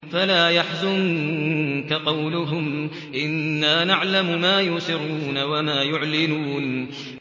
فَلَا يَحْزُنكَ قَوْلُهُمْ ۘ إِنَّا نَعْلَمُ مَا يُسِرُّونَ وَمَا يُعْلِنُونَ